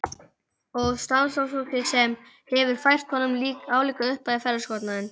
Og samstarfsfólkið hefur fært honum álíka upphæð í ferðakostnaðinn.